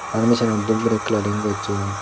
pharmacino dup guri coloring gosson.